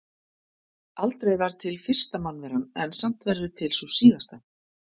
Aldrei var til fyrsta mannveran en samt verður til sú síðasta.